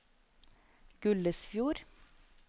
Gullesfjord